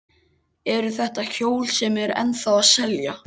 Eru þetta hjól sem eru ennþá að selja?